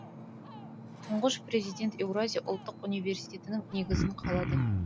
тұңғыш президент еуразия ұлттық университетінің негізін қалады